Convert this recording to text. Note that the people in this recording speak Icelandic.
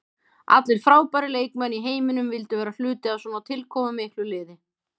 Allir frábærir leikmenn í heiminum vildu vera hluti af svona tilkomumiklu liði.